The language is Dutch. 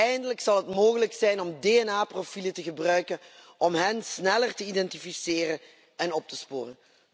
Eindelijk zal het mogelijk zijn om DNA profielen te gebruiken om hen sneller te identificeren en op te sporen.